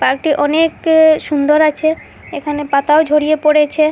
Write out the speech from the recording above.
পার্কটি অনেক সুন্দর আছে এখানে পাতাও ঝরিয়ে পড়েছে।